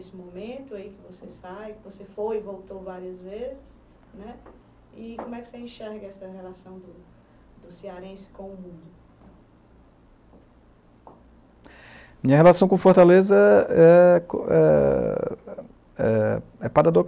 nesse momento aí em que você sai, que você foi e voltou várias vezes né, e como é que você enxerga essa relação do do cearense com o mundo? Minha relação com Fortaleza é é é é